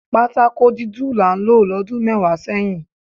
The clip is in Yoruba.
Patakó dúdú là ń lò lọ́dún mẹ́wàá sẹ́yìn